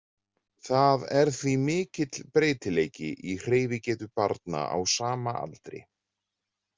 Það er því mikill breytileiki í hreyfigetu barna á sama aldri.